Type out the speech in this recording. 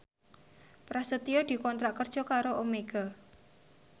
Prasetyo dikontrak kerja karo Omega